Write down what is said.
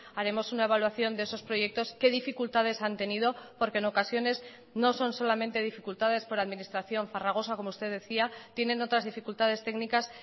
haremos una evaluación de esos proyectos qué dificultades han tenido porque en ocasiones no son solamente dificultades por administración farragosa como usted decía tienen otras dificultades técnicas